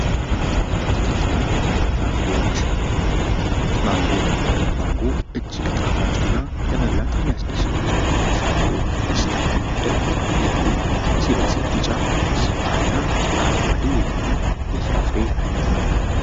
አትክልትና ፍራፍሬዎች ማንጎ:- ማንጎ እጅግ ጣፋጭ እና ለመብላት የሚያስደስቱ ፍራፍሬዎች ዉስጥ የሚመደብ ላዩ ሲበስል ቢጫ አልያ አረንጓዴ የሆነ የፍራፍሬ አይነት ነዉ።